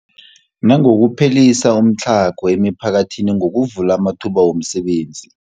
Nangokuphelisa umtlhago emiphakathini ngokuvula amathuba wemisebenzi.